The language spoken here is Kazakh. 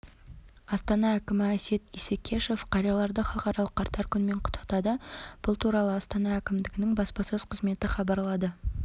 астана әкімі әсет исекешев қарияларды халықаралық қарттар күнімен құттықтады бұл туралы астана әкімдігінің баспасөз қызметі хабарлады